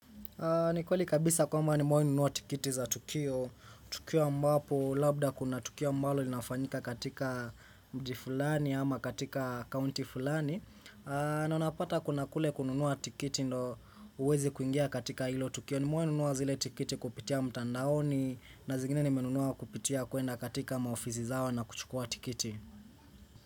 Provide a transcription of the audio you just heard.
Ni kweli kabisa kwamba nimewahinunua tikiti za Tukio. Tukio ambapo, labda kuna Tukio mbalo linafanyika katika mji fulani ama katika kaunti fulani. Na unapata kuna kule kununuwa tikiti ndo uweze kuingia katika ilo Tukio nimewahi nunua zile tikiti kupitia mtandaoni na zingine ni menunuwa kupitia kuenda katika maofisi zao na kuchukua tikiti.